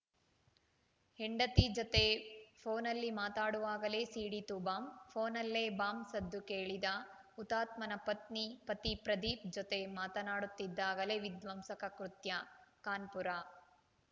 ಹೆಂಡತಿ ಜತೆ ಫೋನಲ್ಲಿ ಮಾತಾಡುವಾಗಲೇ ಸಿಡೀತು ಬಾಂಬ್‌ ಫೋನಲ್ಲೇ ಬಾಂಬ್‌ ಸದ್ದು ಕೇಳಿದ ಹುತಾತ್ಮನ ಪತ್ನಿ ಪತಿ ಪ್ರದೀಪ್‌ ಜೊತೆ ಮಾತನಾಡುತ್ತಿದ್ದಾಗಲೇ ವಿಧ್ವಂಸಕ ಕೃತ್ಯ ಕಾನ್ಪುರ